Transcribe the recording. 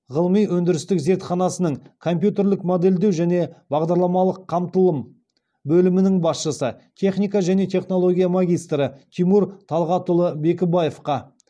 ғылыми өндірістік зертханасының компьютерлік модельдеу және бағдарламалық қамтылым бөлімінің басшысы техника және технология магистрі тимур талғатұлы бекібаевқа